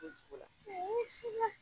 cogo la.